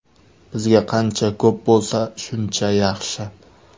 Bizga qancha ko‘p bo‘lsa, shuncha yaxshi.